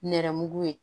Nɛrɛmugu ye